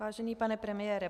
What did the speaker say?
Vážený pane premiére.